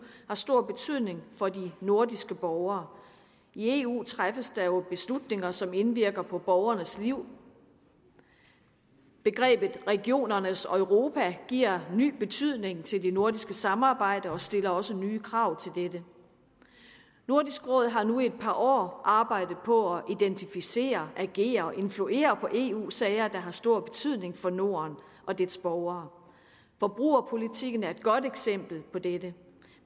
har stor betydning for de nordiske borgere i eu træffes der jo beslutninger som indvirker på borgernes liv begrebet regionernes europa giver ny betydning til det nordiske samarbejde og stiller også nye krav til dette nordisk råd har nu i et par år arbejdet på at identificere agere og influere på eu sager der har stor betydning for norden og dets borgere forbrugerpolitikken er et godt eksempel på dette